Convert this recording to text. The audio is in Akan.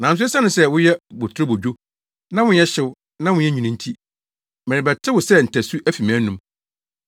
Nanso esiane sɛ woyɛ boturobodwo, na wonyɛ hyew na wonyɛ nwini nti, merebɛte wo sɛ ntasu afi mʼanom.